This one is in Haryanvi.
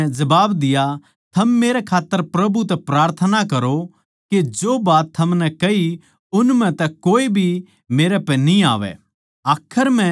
शमौन नै जबाब दिया थम मेरै खात्तर प्रभु तै प्रार्थना करो के जो बात थमनै कही उन म्ह तै कोए भी मेरै पै न्ही आवै